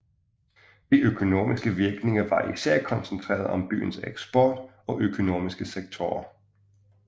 De økonomiske virkninger var især koncentreret om byens eksport og økonomiske sektorer